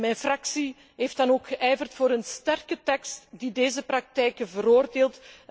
Mijn fractie heeft dan ook geijverd voor een sterke tekst, die deze praktijken veroordeelt.